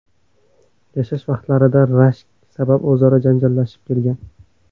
yashash vaqtlarida rashk sabab o‘zaro janjallashib kelgan.